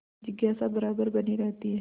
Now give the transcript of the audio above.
जिज्ञासा बराबर बनी रहती है